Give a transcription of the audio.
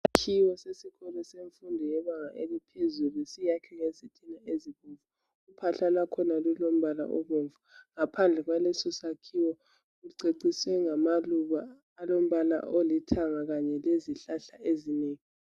Isakhiwo semfundo yebanga eliphezulu siyakhwe ngezitina ezibomvu uphahla lwakhona lulombala obomvu ngaphandle kwalesi isakhiwo kuceciswe ngamaluba alombala olithanga kanye lezihlahla ezinengi.